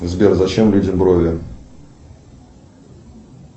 сбер зачем людям брови